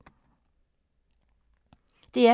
DR P3